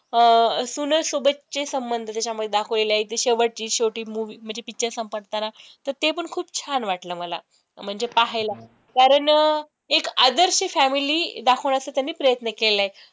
अं सूने सोबतचे संबंध त्याच्यामध्ये दाखवलेले आहे, एकदम शेवटचे शेवटी movie म्हणजे picture संपताना तर ते पण खूप छान वाटलं मला म्हणजे पाहायला, कारण एक आदर्श family दाखवण्याचा त्यांनी प्रयत्न केला आहे.